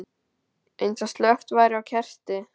Eins og slökkt væri á kerti.